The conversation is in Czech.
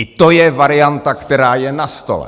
I to je varianta, která je na stole.